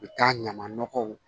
U bɛ taa ɲaman nɔgɔw